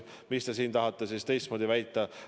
Kas te tahate siis midagi muud väita?